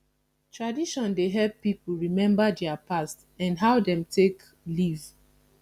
tradition dey help pipo remmba dia past and how dem take live